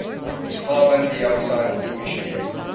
carbon dioxide emissions